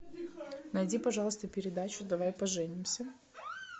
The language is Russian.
найди пожалуйста передачу давай поженимся